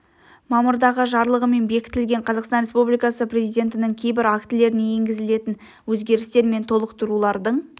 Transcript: мамырдағы жарлығымен бекітілген қазақстан республикасы президентінің кейбір актілеріне енгізілетін өзгерістер мен толықтырулардың